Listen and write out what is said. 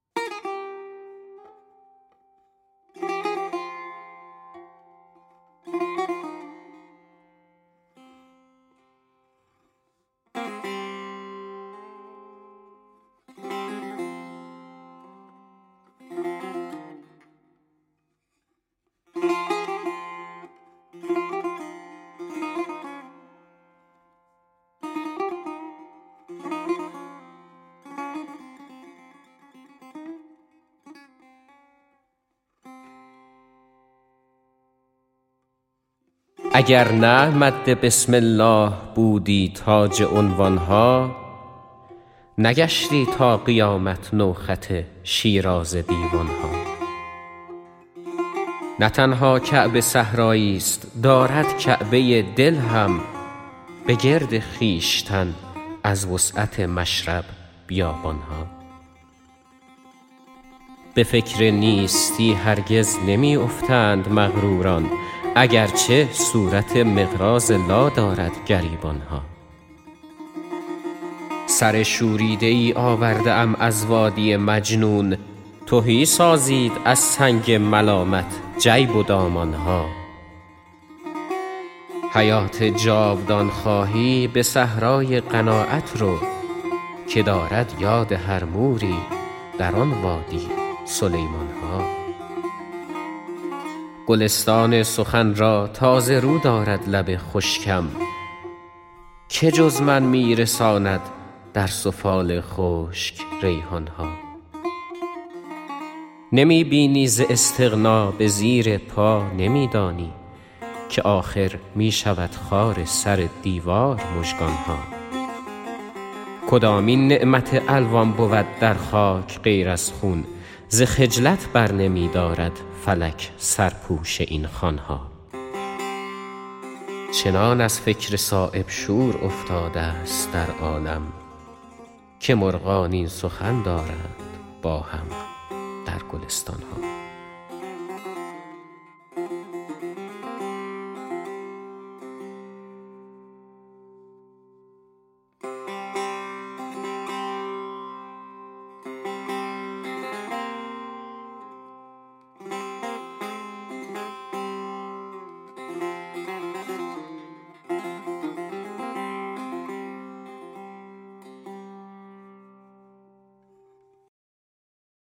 اگر نه مد بسم الله بودی تاج عنوان ها نگشتی تا قیامت نو خط شیرازه دیوان ها نه تنها کعبه صحرایی ست دارد کعبه دل هم به گرد خویشتن از وسعت مشرب بیابان ها به فکر نیستی هرگز نمی افتند مغروران اگرچه صورت مقراض لا دارد گریبان ها سر شوریده ای آورده ام از وادی مجنون تهی سازید از سنگ ملامت جیب و دامان ها حیات جاودان خواهی به صحرای قناعت رو که دارد یاد هر موری در آن وادی سلیمان ها گلستان سخن را تازه رو دارد لب خشکم که جز من می رساند در سفال خشک ریحان ها نمی بینی ز استغنا به زیر پا نمی دانی که آخر می شود خار سر دیوار مژگان ها کدامین نعمت الوان بود در خاک غیر از خون ز خجلت برنمی دارد فلک سرپوش این خوان ها چنان از فکر صایب شور افتاده ست در عالم که مرغان این سخن دارند با هم در گلستان ها